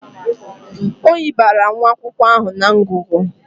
Oyi bara nwa akwụkwọ ahụ na ngụgụ.